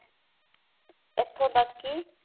ਇਥੋਂ ਤੱਕ ਕਿ